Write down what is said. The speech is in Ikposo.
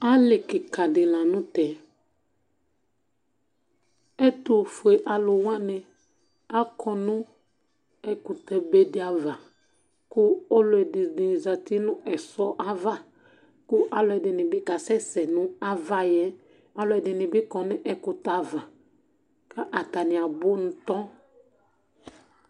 Alí kìka di la ntɛ Ɛtʋfʋe alu wani akɔ nʋ ɛkʋtɛ be di ava kʋ ɔlɔdi zɛti nʋ ɛsɔ ava kʋ alʋɛdìní bi kasɛsɛ nʋ ava yɛ Alʋɛdìní bi kɔ nʋ ɛkʋtɛ ava kʋ atani abʋ ntɔ